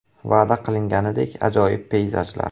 “Va’da qilinganidek ajoyib peyzajlar.